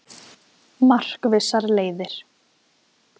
Markvissar leiðir